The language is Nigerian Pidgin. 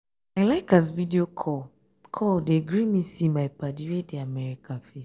i like as video call call dey gree me see my paddy wey dey america face.